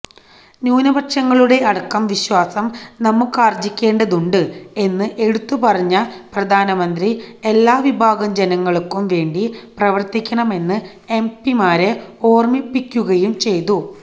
ന്യൂനപക്ഷങ്ങളുടെ അടക്കം വിശ്വാസം നമുക്കാര്ജ്ജിക്കേണ്ടതുണ്ട് എന്ന് എടുത്തുപറഞ്ഞ പ്രധാനമന്ത്രി എല്ലാവിഭാഗം ജനങ്ങള്ക്കും വേണ്ടി പ്രവര്ത്തിക്കണം എന്ന് എംപിമാരെ ഓര്മ്മിപ്പിക്കുകയും ചെയ്തു